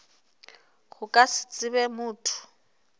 go ka se tsebe motho